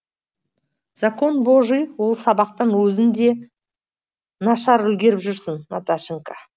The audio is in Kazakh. закон божий ол сабақтан өзің де нашар үлгеріп жүрсің наташенька